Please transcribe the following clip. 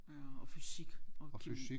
Ja og fysik og kemi